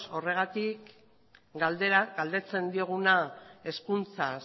horregatik galdetzen dioguna hezkuntza